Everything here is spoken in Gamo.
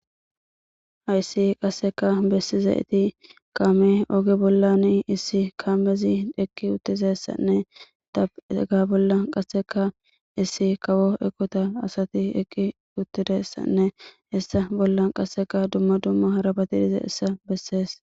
Hayssi qasseka bessizayssi kaame oge bollanne essi kaamezi eqqidi dizayssanne hega oge bolla qasseka issi kawo eqota asati eqqi uttidayssanne hessa bolla qasseka dumma dumma harabati de'izayssa bessees.